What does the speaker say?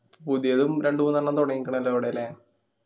പുതിയതും രണ്ടു മൂന്നെണ്ണം തൊടങ്യിക്കണോല്ലോ അവിടെ ല്ലേ